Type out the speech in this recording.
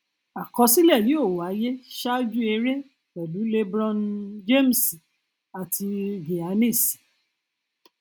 àkọsílẹ yóò wáyé ṣáájú eré pẹlú lebron um james àti um giannis